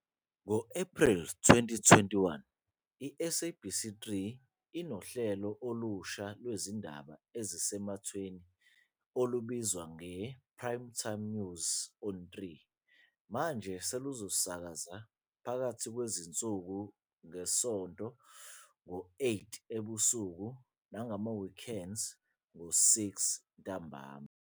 Ngo-Ephreli 2021, i-SABC 3 inohlelo olusha lwezindaba ezisematheni olubizwa ngePrime News On 3, manje seluzosakaza phakathi nezinsuku ngeSonto ngo-8 ebusuku nangama-Weekends ngo-6 ntambama.